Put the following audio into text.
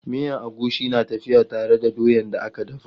Miyan agushi na tafiya tare da doyan da aka daka.